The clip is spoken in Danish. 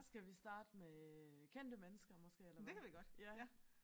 Skal vi starte med kendte mennesker måske eller hvad ja